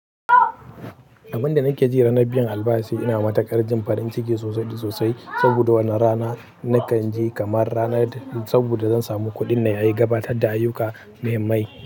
Abin da nake ji ranar biyan albashi ina matuƙar jin farin ciki sosai da sosai, saboda wannan rana nakan ji kamar ranar saboda zan samu kuɗin da ya yi gabatar da ayyuka muhimmai.